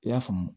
I y'a faamu